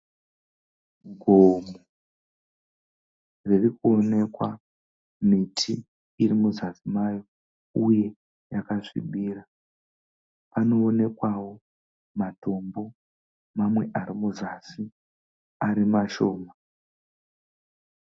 Gomo ririkuonekwa miti iri muzasi maro uye yakasvibira. Panoonekwawo matombo mamwe ari muzasi uye ari mashoma.